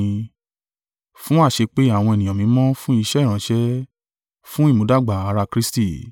Fún àṣepé àwọn ènìyàn mímọ́ fun iṣẹ́ ìránṣẹ́, fún ìmúdàgbà ara Kristi.